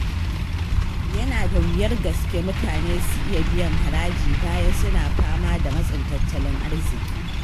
Yana da wuyar gaske mutane su iya biyan haraji bayan suna fama da matsin tattalin arziƙi